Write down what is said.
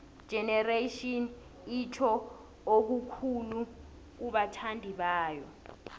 igenerations itjho okukhulu kubathandibayo